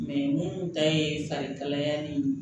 minnu ta ye farikalaya ni